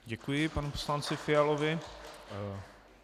Děkuji panu poslanci Fialovi.